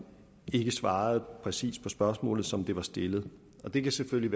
ikke svarede præcist på spørgsmålet som det blev stillet det kan selvfølgelig